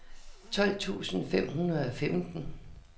tolv tusind fem hundrede og femten